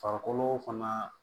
Farikolo fana